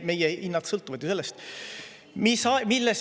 Meie hinnad sõltuvad ju sellest.